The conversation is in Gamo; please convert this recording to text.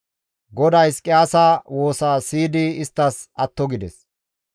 GODAY Hizqiyaasa woosa siyidi isttas atto gides.